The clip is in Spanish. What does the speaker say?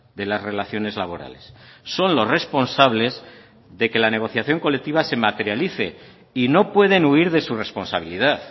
de las relaciones laborales son los responsables de que la negociación colectiva se materialice y no pueden huir de su responsabilidad